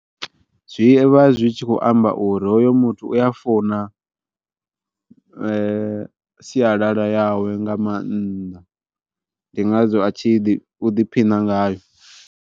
Zwi vha zwi tshi khou amba uri hoyo muthu u ya funa sialala yawe nga maanḓa ndi ngazwo a tshi ḓiphina ngayo.